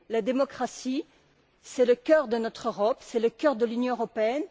La démocratie, c'est le cœur de notre Europe, c'est le cœur de l'Union européenne.